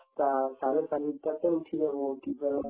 টা চাৰে চাৰিটাতে উঠি যাব উঠি পেলাই